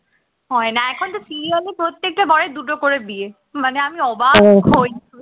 হয় না এখন তো serial এ প্রত্যেকটা বরের দুটো করে বিয়ে মানে আমি অবাক হই